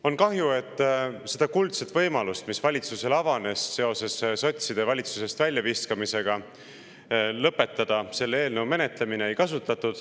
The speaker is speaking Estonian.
On kahju, et ei kasutatud seda kuldset võimalust, mis valitsusel avanes seoses sotside valitsusest väljaviskamisega: lõpetada selle eelnõu menetlemine.